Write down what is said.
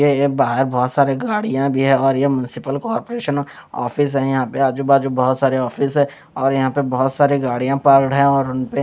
ये ये बाहर बहुत सारे गाड़ीयाँ भी है और ये म्युनिसिपल कॉर्पोरेशन ऑफिस है यहाँ पे आजूबाजू बहुत सारे ऑफिस हैं और यहाँ पे बहत सरे गाड़ीया पार्क है और उनपे--